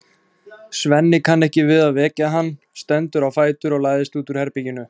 Svenni kann ekki við að vekja hann, stendur á fætur og læðist út úr herberginu.